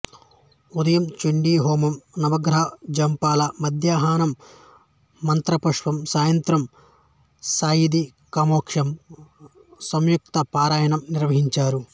ఉదయం చండీహోమం నవగ్రహ జపాలు మద్యాహ్నం మంత్రపుష్పం సాయంత్రం సాయందీక్షాహోమం సూక్తపారాయణం నిర్వహించారు